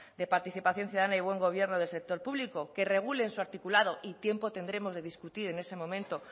de participación ciudadana y buen gobierno del sector público que regule en su articulado y tiempo tendremos de discutir en ese momento